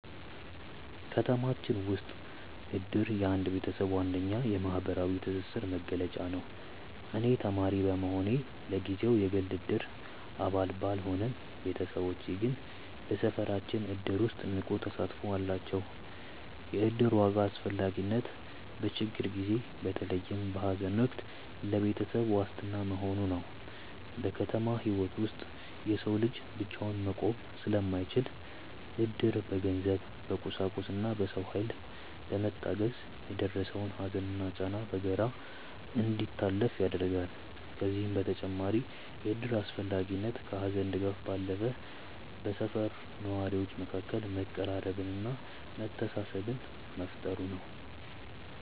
ከተማችን ውስጥ እድር የአንድ ቤተሰብ ዋነኛ የማህበራዊ ትስስር መገለጫ ነው። እኔ ተማሪ በመሆኔ ለጊዜው የግል የእድር አባል ባልሆንም፣ ቤተሰቦቼ ግን በሰፈራችን እድር ውስጥ ንቁ ተሳትፎ አላቸው። የእድር ዋና አስፈላጊነት በችግር ጊዜ፣ በተለይም በሐዘን ወቅት ለቤተሰብ ዋስትና መሆኑ ነው። በከተማ ህይወት ውስጥ የሰው ልጅ ብቻውን መቆም ስለማይችል፣ እድር በገንዘብ፣ በቁሳቁስና በሰው ኃይል በመታገዝ የደረሰውን ሐዘንና ጫና በጋራ እንዲታለፍ ያደርጋል። ከዚህም በተጨማሪ የእድር አስፈላጊነት ከሐዘን ድጋፍ ባለፈ በሰፈር ነዋሪዎች መካከል መቀራረብንና መተሳሰብን መፍጠሩ ነው።